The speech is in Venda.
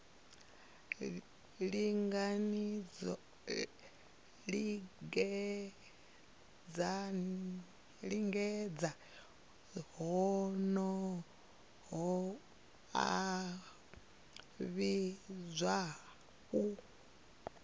lingedza honoho a vhidzwa u